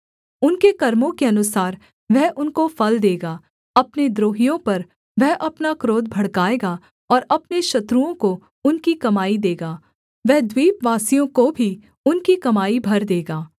उनके कर्मों के अनुसार वह उनको फल देगा अपने द्रोहियों पर वह अपना क्रोध भड़काएगा और अपने शत्रुओं को उनकी कमाई देगा वह द्वीपवासियों को भी उनकी कमाई भर देगा